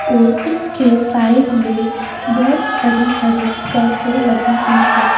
और इसके साइड में बोहोत हरी-हरी गासे लगी हुई है।